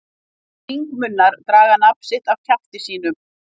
Hringmunnar draga nafn sitt af kjafti sínum.